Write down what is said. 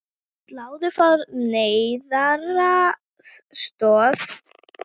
Stálu frá neyðaraðstoð